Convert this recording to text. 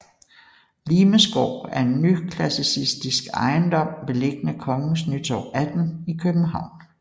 Lihmes Gård er en nyklassisistisk ejendom beliggende Kongens Nytorv 18 i København